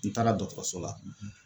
N taara dɔgɔtɔrɔso la